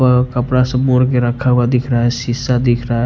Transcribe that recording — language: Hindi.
कपड़ा सब मोड़ के रखा हुआ दिख रहा है शीशा दिख रहा है।